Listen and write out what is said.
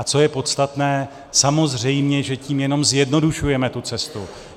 A co je podstatné, samozřejmě že tím jenom zjednodušujeme tu cestu.